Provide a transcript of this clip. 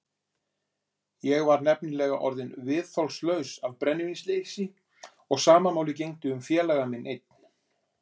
Ég var nefnilega orðinn viðþolslaus af brennivínsleysi og sama máli gegndi um félaga minn einn.